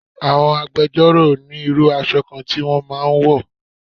Àwọn agbẹjọ́ro ni irú aṣọ kan tí wọ́n máa ń wọ̀